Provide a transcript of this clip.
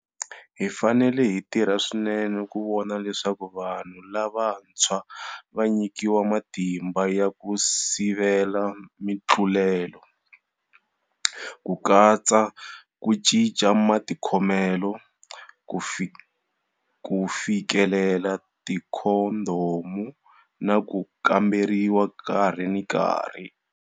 Hi fanele hi tirha swinene ku vona leswaku vanhu lavantshwa va nyikiwa matimba ya ku sivela mitlulelo, ku katsa ku cinca matikhomelo, ku fikelela tikhondhomu na ku kamberiwa nkarhi na nkarhi.